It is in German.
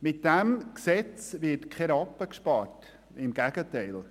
Mit diesem Gesetz wird kein Rappen gespart, im Gegenteil.